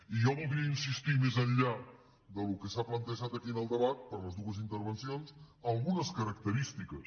i jo voldria insistir més enllà del que s’ha plantejat aquí en el debat per les dues intervencions en algunes característiques